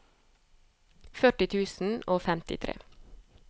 førti tusen og femtitre